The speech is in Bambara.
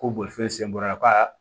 Ko bolifɛn sen bɔra